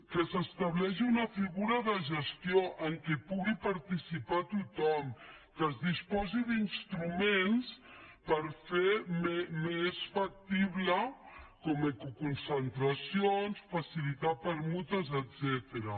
que s’estableixi una figura de gestió en què pugui participar tothom que es disposi d’instruments per fer ho més factible com ecoconcentracions facilitar permutes etcètera